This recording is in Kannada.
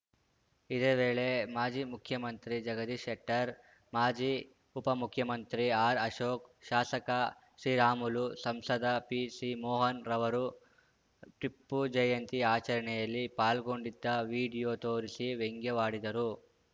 ಇದೇ ವೇಳೆ ಮಾಜಿ ಮುಖ್ಯಮಂತ್ರಿ ಜಗದೀಶ್‌ ಶೆಟ್ಟರ್‌ ಮಾಜಿ ಉಪಮುಖ್ಯಮಂತ್ರಿ ಆರ್‌ಅಶೋಕ್‌ ಶಾಸಕ ಶ್ರೀರಾಮುಲು ಸಂಸದ ಪಿಸಿಮೋಹನ್‌ ರವರು ಟಿಪ್ಪು ಜಯಂತಿ ಆಚರಣೆಯಲ್ಲಿ ಪಾಲ್ಗೊಂಡಿದ್ದ ವಿಡಿಯೋ ತೋರಿಸಿ ವ್ಯಂಗ್ಯವಾಡಿದರು